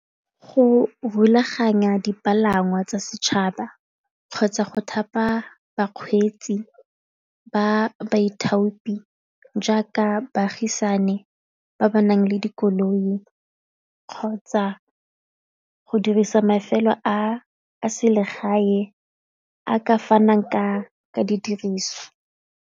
Go rulaganya dipalangwa tsa setšhaba kgotsa go thapa bakgweetsi ba baithopi jaaka baagisane ba ba nang le dikoloi kgotsa go dirisa mafelo a selegae a ka fanang ka didiriswa.